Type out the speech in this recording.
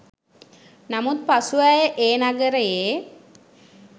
නමුත් පසුව ඇය ඒ නගරයේ